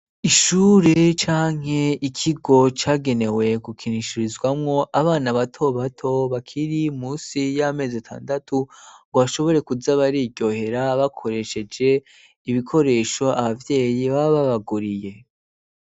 Ishure canke ikigo cyagenewe gukinishirizwamo abana bato bato bakiri munsi y'amezi atandatu ngo bashobore kuya bariyohera bakoresheje ibikoresho ababyeyi bababaguriye.